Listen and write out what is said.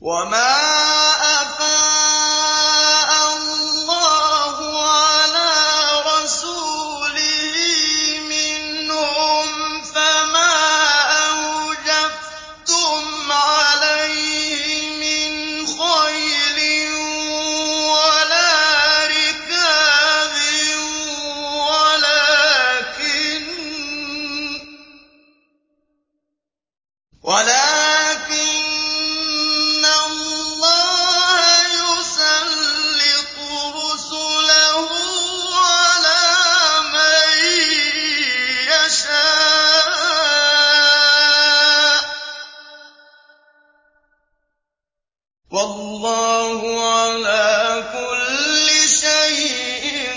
وَمَا أَفَاءَ اللَّهُ عَلَىٰ رَسُولِهِ مِنْهُمْ فَمَا أَوْجَفْتُمْ عَلَيْهِ مِنْ خَيْلٍ وَلَا رِكَابٍ وَلَٰكِنَّ اللَّهَ يُسَلِّطُ رُسُلَهُ عَلَىٰ مَن يَشَاءُ ۚ وَاللَّهُ عَلَىٰ كُلِّ شَيْءٍ